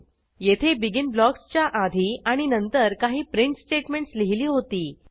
येथे बेगिन ब्लॉक्सच्या आधी आणि नंतर काही प्रिंट स्टेटमेंटस् लिहिली होती